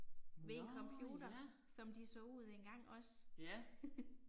Nåh ja. Ja